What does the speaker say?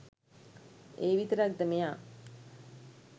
ඒවිතරක් ද මෙයා